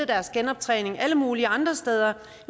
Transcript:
deres genoptræning alle mulige andre steder